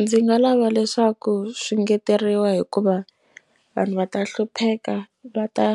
Ndzi nga lava leswaku swi ngeteriwa hikuva vanhu va ta hlupheka va ta